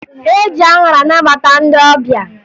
E ji aṅara anabata ndị ọbịa